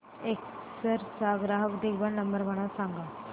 Acer चा ग्राहक देखभाल नंबर मला सांगा